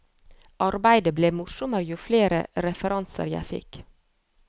Arbeidet ble morsommere jo flere referanser jeg fikk.